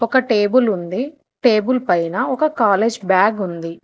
ఒక టేబుల్ ఉంది టేబుల్ పైన ఒక కాలేజ్ బాగ్ ఉంది.